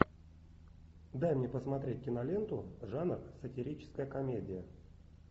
дай мне посмотреть киноленту жанр сатирическая комедия